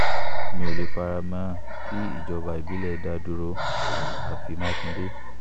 mi ò lè fara mọ́ kí ìjọba ìbílẹ̀ dá dúró àfi mákindé